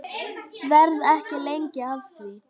Verð ekki lengi að því.